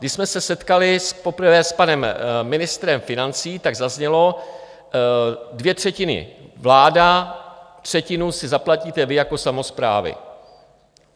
Když jsme se setkali poprvé s panem ministrem financí, tak zaznělo: Dvě třetiny vláda, třetinu si zaplatíte vy jako samosprávy.